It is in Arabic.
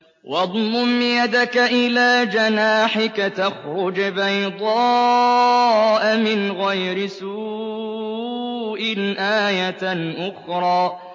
وَاضْمُمْ يَدَكَ إِلَىٰ جَنَاحِكَ تَخْرُجْ بَيْضَاءَ مِنْ غَيْرِ سُوءٍ آيَةً أُخْرَىٰ